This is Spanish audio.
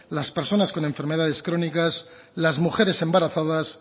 las personas con enfermedades crónicas las mujeres embarazadas